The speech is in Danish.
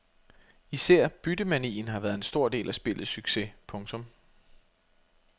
Især byttemanien har været en stor del af spillets succes. punktum